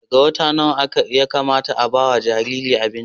daga wata nawa Yakamata a fara bawa Jariri abinci